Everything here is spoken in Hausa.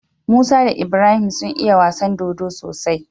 Musa da Ibrahim sun iya wasan dodo sosai